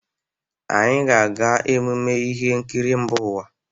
Anyị ga-aga ememme ihe nkiri mba ụwa.